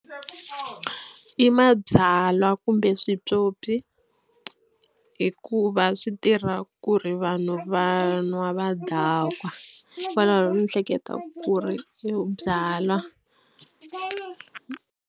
I mabyalwa kumbe switswotswi hikuva swi tirha ku ri vanhu va nwa va dakwa hikokwalaho ni hleketa ku ri i byalwa.